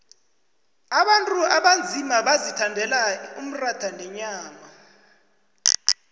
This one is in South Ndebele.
abantu abanzima bazithandela umratha nenyama